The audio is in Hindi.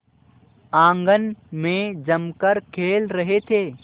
आंगन में जमकर खेल रहे थे